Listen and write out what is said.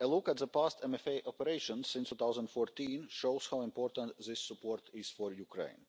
look at the past MFA operation from 2014 shows how important this support is for Ukraine.